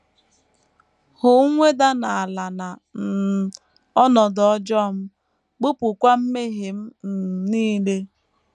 Hụ mweda n’ala na um ọnọdụ ọjọọ m; bupụkwa mmehie m um nile. ”